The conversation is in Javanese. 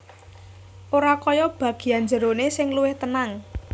Ora kaya bagian njeroné sing luwih tenang